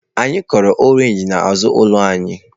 Anyị kụrụ oroma n'azụ ụlọ anyị.